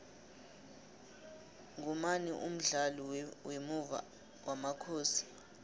ngumani umdlali wemuva wamakhosi